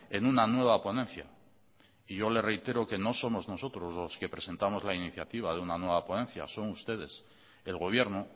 en una nueva ponencia y yo le reitero que no somos nosotros los que presentamos la iniciativa de una nueva ponencia son ustedes el gobierno